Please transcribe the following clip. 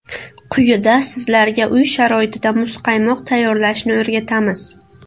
Quyida sizlarga uy sharoitida muzqaymoq tayyorlashni o‘rgatamiz.